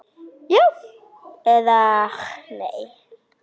Já eða nei?